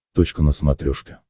точка на смотрешке